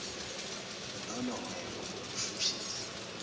lolo hwebo ukushushisa